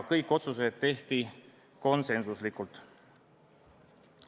Kõik otsused tehti konsensuslikult.